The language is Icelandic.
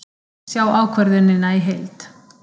Sjá ákvörðunina í heild